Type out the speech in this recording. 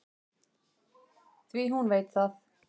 Því hún veit það.